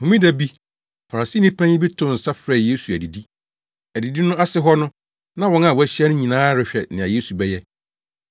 Homeda bi, Farisini panyin bi too nsa frɛɛ Yesu adidi. Adidi no ase hɔ no, na wɔn a wɔahyia no nyinaa rehwɛ nea Yesu bɛyɛ.